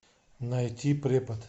найти препод